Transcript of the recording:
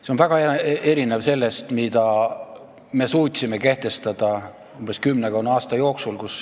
See on väga erinev sellest, mida meie suutsime kehtestada kümmekonna aasta jooksul.